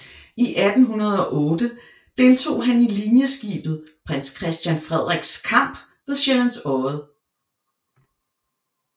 I 1808 deltog han i linjeskibet Prins Christian Frederiks kamp ved Sjællands Odde